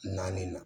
Naani na